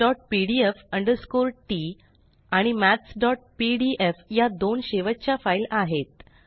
mathspdf t आणि mathsपीडीएफ या दोन शेवटच्या फाइल आहेत